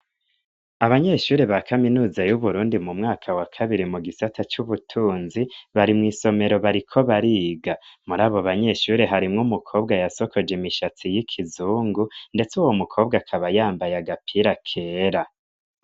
Abanyeshure ba kaminuza y'Uburundi mu mwaka wa kabiri mu gisata c'ubutunzi, bari mw'isomero bariko bariga, muri abo banyeshure harimwo umukobwa yasokoje imishatsi y'ikizungu, ndetse uwo mukobwa akaba yambaye agapira kera.